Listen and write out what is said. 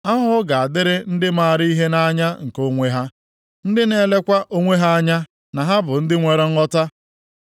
Ahụhụ ga-adịrị ndị maara ihe nʼanya nke onwe ha, ndị na-elekwa onwe ha anya na ha bụ ndị nwere nghọta.